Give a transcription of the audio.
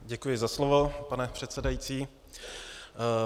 Děkuji za slovo, pane předsedající.